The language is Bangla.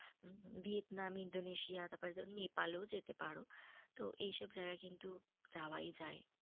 ভিয়েতনাম, ইন্দোনেশিয়া তারপর নেপালও যেতে পারো। তো এইসব জায়গা কিন্তু যাওয়াই যায়।